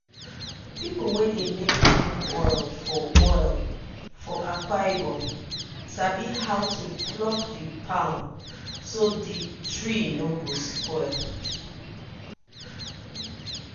people wey dey make palm oil for oil for akwa ibom sabi how to pluck the palm so dey tree no go spoil.